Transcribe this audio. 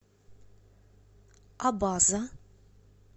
абаза